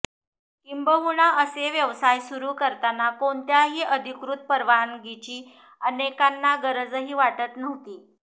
किंबहुना असे व्यवसाय सुरु करताना कोणत्याही अधिकृत परवानगीची अनेकांना गरजही वाटत नव्हती